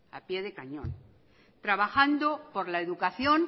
a pie de cañón trabajando por la educación